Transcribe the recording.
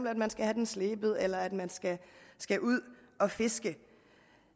at man skal have den slebet eller at man skal ud at fiske